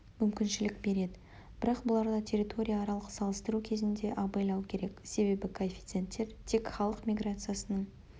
мүмкіншілік береді бірақ бұларда территория аралық салыстыру кезінде абайлау керек себебі коэффиценттер тек халық миграциясының